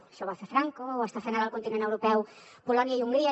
això ho va fer franco ho estan fent ara al continent europeu polònia i hongria